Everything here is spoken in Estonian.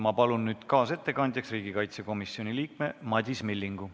Ma palun nüüd kaasettekandjaks riigikaitsekomisjoni liikme Madis Millingu.